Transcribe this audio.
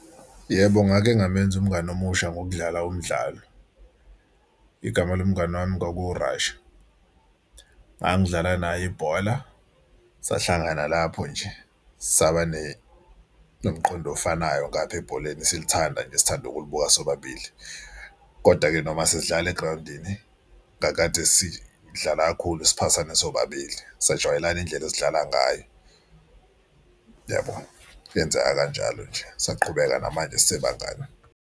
Yebo, ngake ngamenza umngani omusha ngokudlala umdlalo, igama lomngani wami kwaku-Rasha. Ngangidlala naye ibhola sahlangana lapho nje saba nomqondo ofanayo ngapha ebholeni silithanda nje sithanda ukulibuka sobabili, kodwa-ke noma sidlala egrawundini kakade sidlala kakhulu siphathane sobabili. Sajwayelana indlela esidlala ngayo yabo yenzeka kanjalo nje saqhubeka namanje sisebangane.